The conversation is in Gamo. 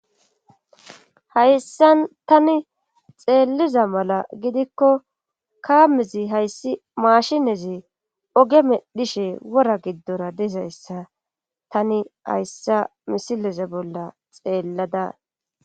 Hayssan tani xeelliza mala gidikko kaamezi hayssi maashinezi oge medhishe wora giddora dizayssa tani hayssa misileze bolla xeellada